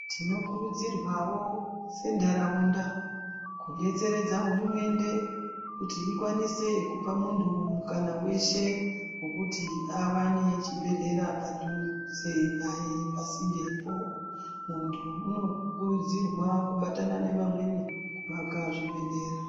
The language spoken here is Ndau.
Tinokurudzirwawo sentaraunda kudetseredza hurumende, kuti ikwanise kupa muntu mukana weshe wekuti awane chibhedhlera padhuze naye pasindepo. Muntu unokurudzirwa kubatana nevamweni kuvaka zvibhedhlera.